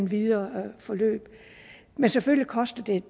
videre forløb men selvfølgelig koster